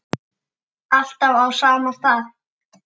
Alltaf á sama stað.